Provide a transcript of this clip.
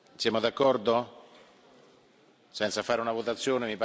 Siamo d'accordo senza fare una votazione?